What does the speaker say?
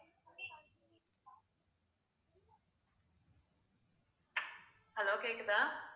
hello கேக்குதா